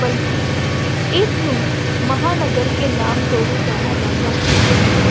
ਬਲਕਿ ਇਸਨੂੰ ਮਹਾਂਨਗਰ ਕੇ ਨਾਮ ਤੋਂ ਵੀ ਜਾਣਾ ਜਾਂਦਾ ਹੈ।